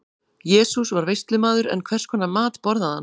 Jesús var veislumaður, en hvers konar mat borðaði hann?